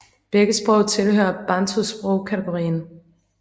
Begge sprog tilhører Bantu sprog kategorien